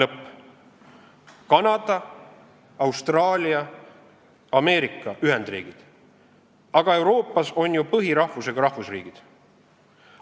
Jah, Kanada, Austraalia, Ameerika Ühendriigid – aga Euroopas on ju põhirahvusega rahvusriigid!